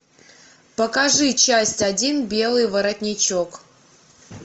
покажи часть один белый воротничок